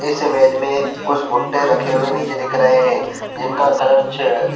इस इमेज में कुछ भूटे रखे हुए नीचे दिख रहै हैं जिनका कलर च--